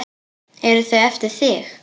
Eru þau eftir þig?